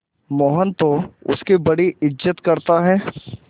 मोहन तो उसकी बड़ी इज्जत करता है